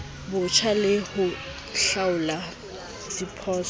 botjha le ho hlaola diphoso